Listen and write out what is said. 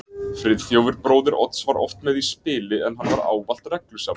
Friðþjófur bróðir Odds var oft með í spili, en hann var ávallt reglusamur.